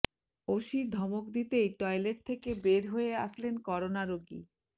OC ধমক দিতেই toilet থেকে বের হয়ে আসলেন করোনা রোগী